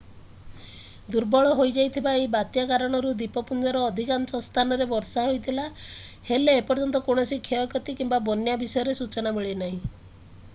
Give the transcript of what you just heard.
ଦୁର୍ବଳ ହୋଇଯାଇଥିବା ଏହି ବାତ୍ୟା କାରଣରୁ ଦ୍ୱୀପପୁଞ୍ଜର ଅଧିକାଂଶ ସ୍ଥାନରେ ବର୍ଷା ହୋଇଥିଲା ହେଲେ ଏପର୍ଯ୍ୟନ୍ତ କୌଣସି କ୍ଷୟକ୍ଷତି କିମ୍ବା ବନ୍ୟା ବିଷୟରେ ସୂଚନା ମିଳିନାହିଁ